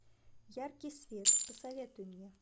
яркий свет посоветуй мне